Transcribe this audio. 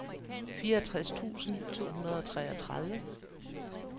fireogtres tusind to hundrede og treogtredive